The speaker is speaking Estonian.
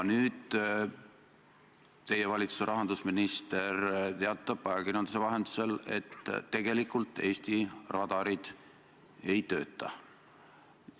Nüüd teatas teie valitsuse rahandusminister ajakirjanduse vahendusel, et Eesti radarid tegelikult ei tööta.